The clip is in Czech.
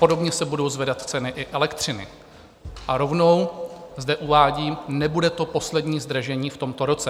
Podobně se budou zvedat i ceny elektřiny a rovnou zde uvádím, nebude to poslední zdražení v tomto roce.